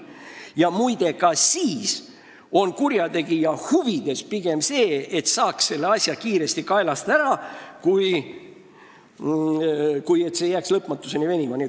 Ja muide, ka siis on kurjategija huvides pigem see, et saaks selle asja kiiresti kaelast ära, kui et see jääks lõpmatuseni venima.